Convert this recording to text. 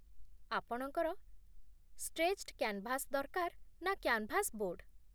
ଆପଣଙ୍କର stretched canvas ଦରକାର ନା କ୍ୟାନ୍‌ଭାସ୍ ବୋର୍ଡ?